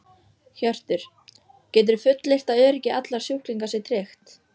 Hjörtur: Geturðu fullyrt að öryggi allra sjúklinga sé tryggt?